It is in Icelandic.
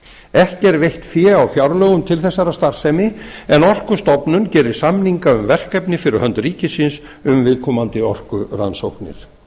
er veitt fé á fjárlögum til þessarar starfsemi en orkustofnun gerir samninga um verkefni fyrir hönd ríkisins um viðkomandi orkurannsóknir